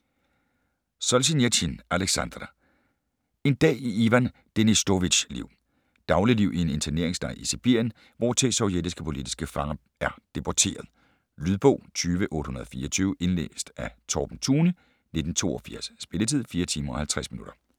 Solzjenitsyn, Aleksandr: En dag i Ivan Denisovitjs liv Dagligliv i en interneringslejr i Sibirien, hvortil sovjetiske politiske fanger er deporteret. Lydbog 20824 Indlæst af Torben Thune, 1982. Spilletid: 4 timer, 50 minutter.